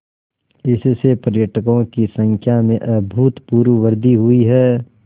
इससे पर्यटकों की संख्या में अभूतपूर्व वृद्धि हुई है